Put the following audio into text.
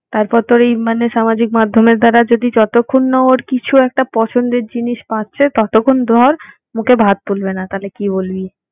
তারপর তোর এই মানে সামাজিক মাধ্যমের দ্বারা যদি যতক্ষণ না ওর কিছু একটা পছন্দের জিনিস পাচ্ছে ততোক্ষণ ধর মুখে ভাত তুলবে না। তইলে কি বলবি?